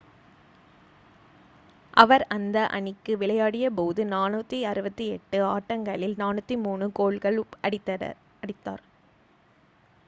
அவர் அந்த அணிக்கு விளையாடியபோது 468 ஆட்டங்களில் 403 கோல்கள் அடித்தார்